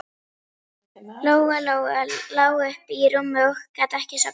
Lóa-Lóa lá uppi í rúmi og gat ekki sofnað.